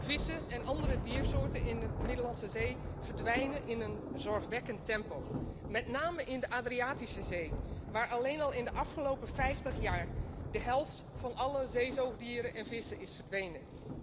Vissen en andere diersoorten in de Middellandse Zee verdwijnen in een zorgwekkend tempo, met name in de Adriatische Zee, waar alleen al in de afgelopen vijftig jaar de helft van alle zeezoogdieren en vissen is verdwenen.